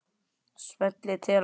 Smellið til að